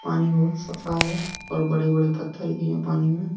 पानी बहुत साफ है और बड़े बड़े पत्थल भी है पानी में--